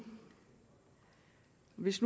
hvis